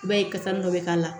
I b'a ye kasa dɔ bɛ k'a la